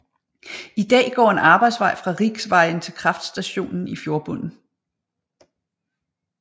I dag går en arbejdsvej fra riksvejen til kraftstationen i fjordbunden